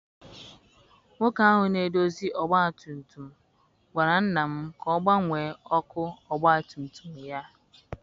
Nwoke ahụ na-edozi ọgbatumtum gwara nna m ka ọ gbanwee ọkụ ọgbatumtum ya.